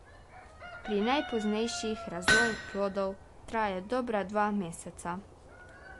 Pri najpoznejših razvoj plodov traja dobra dva meseca.